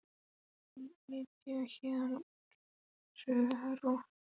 Ég ætla að flytja héðan úr þessu rottubæli í kvöld.